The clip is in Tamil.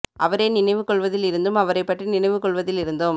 அவரே நினைவு கொள்வதில் இருந்தும் அவரைப்பற்றி நினைவு கொள்வதில் இருந்தும்